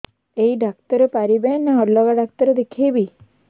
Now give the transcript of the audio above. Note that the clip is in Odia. ଏଇ ଡ଼ାକ୍ତର ପାରିବେ ନା ଅଲଗା ଡ଼ାକ୍ତର ଦେଖେଇବି